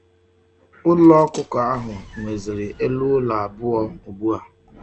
Ulo okuko ahu nweziri elu ulo abuo ugbu a.